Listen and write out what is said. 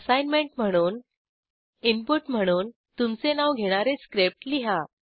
assignment म्हणून input म्हणून तुमचे नाव घेणारे स्क्रिप्ट लिहा